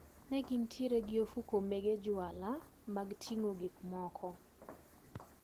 Negintiere gi ofuko mege juala mag ting`o gikmoko.